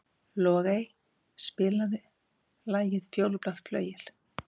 Logey, spilaðu lagið „Fjólublátt flauel“.